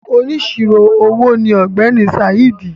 “Onísirò owó” ni ọ̀gbẹ́ni Saheed.